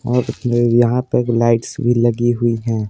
और यहाँ पे लाइट्स भी लगी हुई है।